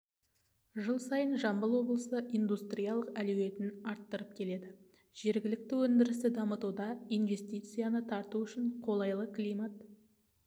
жыл сайын жамбыл облысы индустриялық әлеуетін арттырып келеді жергілікті өндірісті дамытуда инвестицияны тарту үшін қолайлы климат